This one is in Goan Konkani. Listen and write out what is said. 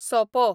सोपो